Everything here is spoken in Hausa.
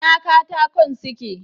Ina katakon suke?